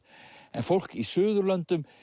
en fólk í suðurlöndum